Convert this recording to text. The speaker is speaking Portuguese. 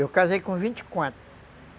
Eu casei com vinte e quatro.